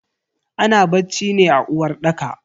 Ana bacci ne a uwarɗaka.